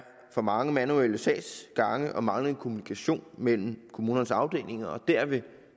for mange manuelle sagsgange og manglende kommunikation mellem kommunernes afdelinger og derved